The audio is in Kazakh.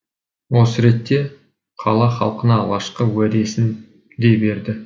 осы ретте қала халқына алғашқы уәдесін де берді